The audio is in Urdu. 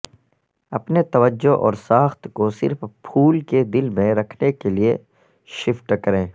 اپنے توجہ اور ساخت کو صرف پھول کے دل میں رکھنے کے لئے شفٹ کریں